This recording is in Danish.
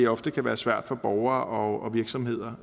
ofte kan være svært for borgere og virksomheder